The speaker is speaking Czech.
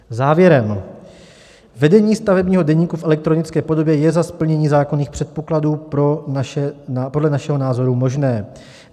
Závěrem: vedení stavebního deníku v elektronické podobě je za splnění zákonných předpokladů podle našeho názoru možné.